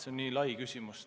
See on väga lai küsimus.